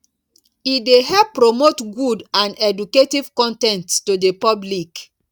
e dey help promote good and educative con ten ts to the public